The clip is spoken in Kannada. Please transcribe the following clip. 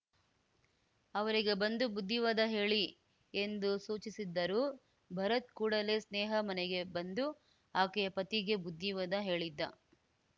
ಅವರಿಗೆ ಬಂದು ಬುದ್ಧಿವಾದ ಹೇಳಿ ಎಂದು ಸೂಚಿಸಿದ್ದರು ಭರತ್‌ ಕೂಡಲೇ ಸ್ನೇಹಾ ಮನೆಗೆ ಬಂದು ಆಕೆಯ ಪತಿಗೆ ಬುದ್ಧಿವಾದ ಹೇಳಿದ್ದ